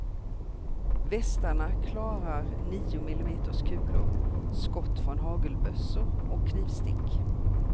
Västarna klarar nio millimeters kulor, skott från hagelbössor och knivstick.